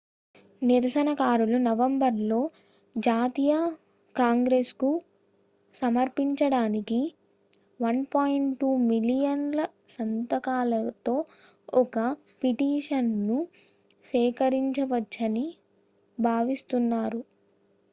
నిరసనకారులు నవంబర్ లో జాతీయ కాంగ్రెస్ కు సమర్పించడానికి 1.2 మిలియన్ ల సంతకాలతో ఒక పిటిషన్ ను సేకరించవచ్చని భావిస్తున్నారు